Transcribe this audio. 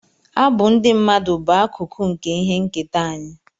Abụ ndị mmadụ bụ akụkụ nke ihe nketa anyị